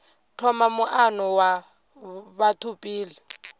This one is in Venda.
thoma muano wa batho pele